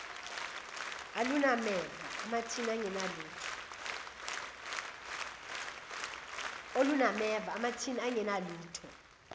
olunameva amathini angenalutho